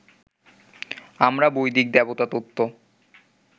আমরা বৈদিক দেবতাতত্ত্ব